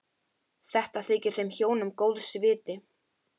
Þetta þykir þeim hjónum góðs viti.